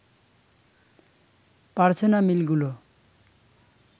পারছে না মিলগুলো